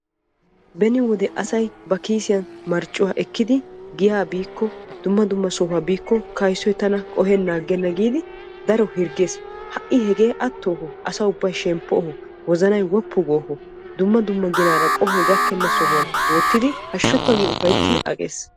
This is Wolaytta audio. Beni wode asay Ba Kiisiyan marccuwa ekkiddi dumma dumma sohuwaa biikko kayssoy tana qohenan aggenna giiddi keehippe hirggees ha hegee atto asaa ubbay shemppoo dumma dumma ginaara lo'o sohuwan wottiddi Hashukka Giidi Ufayttidi shemppees.